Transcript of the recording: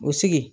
O sigi